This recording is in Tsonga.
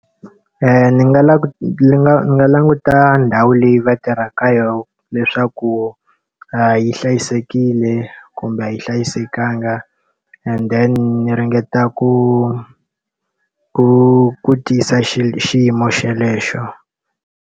Ndzi nga ndzi nga na languta ndhawu leyi va tirhaka ka yona leswaku yi hlayisekile kumbe a yi hlayisekangi and then ndzi ringeta ku ku tiyisa xiyimo xolexo.